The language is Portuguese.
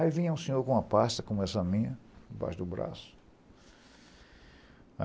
Aí vinha um senhor com uma pasta, como essa minha, embaixo do braço.